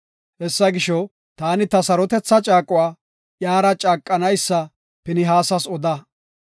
Hessa gisho, taani ta sarotetha caaquwa iyara caaqanaysa Pinihaasas oda.